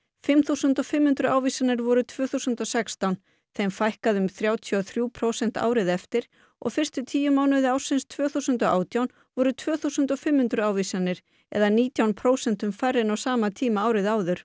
fimm þúsund og fimm hundruð ávísanir voru tvö þúsund og sextán þeim fækkaði um þrjátíu og þrjú prósent árið eftir og fyrstu tíu mánuði ársins tvö þúsund og átján voru tvö þúsund og fimm hundruð ávísanir eða nítján prósentum færri en á sama tíma árið áður